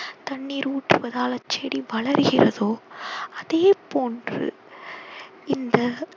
தண்ணீர் ஊற்றுவதால் அச்சடி வளர்கிறதோ அதேபோன்று இந்த